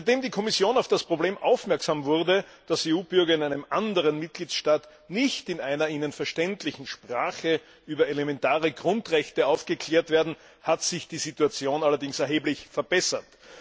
Seitdem die Kommission auf das Problem aufmerksam wurde, dass EU Bürger in einem anderen Mitgliedstaat nicht in einer ihnen verständlichen Sprache über elementare Grundrechte aufgeklärt werden, hat sich die Situation allerdings erheblich verbessert.